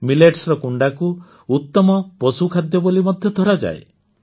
ମିଲେଟ୍ସର କୁଣ୍ଡାକୁ ଉତ୍ତମ ପଶୁଖାଦ୍ୟ ବୋଲି ମଧ୍ୟ ଧରାଯାଏ